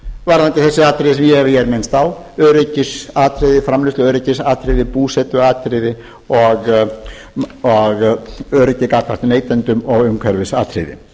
varðandi þessi atriði sem ég hef hér minnst á framleiðsluöryggisatriði búsetuatriði og öryggi gagnvart neytendum og umhverfisatriði